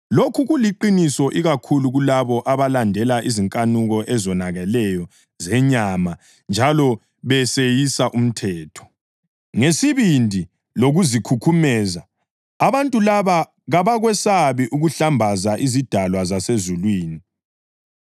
Lokhu kuliqiniso ikakhulu kulabo abalandela izinkanuko ezonakeleyo zenyama njalo beseyisa umthetho. Ngesibindi lokuzikhukhumeza, abantu laba kabakwesabi ukuhlambaza izidalwa zasezulwini;